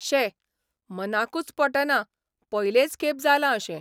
शे, मनाकूच पटना पयलेच खेप जालां अशें.